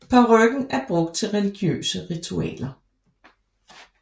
Parykken er brugt til religiøse ritualer